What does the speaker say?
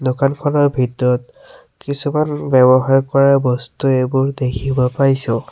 দোকানখনৰ ভিতৰত কিছুমান ব্যৱহাৰ কৰা বস্তু এইবোৰ দেখিব পাইছোঁ।